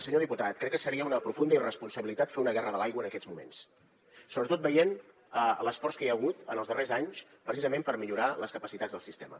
senyor diputat crec que seria una profunda irresponsabilitat fer una guerra de l’aigua en aquests moments sobretot veient l’esforç que hi ha hagut en els darrers anys precisament per millorar les capacitats del sistema